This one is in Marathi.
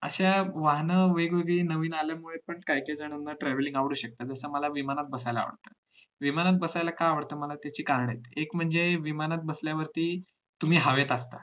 अशा वाहन वेगवेगळी नवीन आल्यामुळे काही काही जणांना travelling आवडू शकतं जसं मला विमानात बसायला आवडत विमानात बसायला का आवडत त्याची कारण आहेत एक म्हणजे विमानात बसल्यावरती तुम्ही हवेत असता